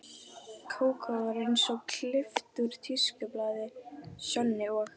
Kókó var eins og klippt út úr tískublaði, Sjonni og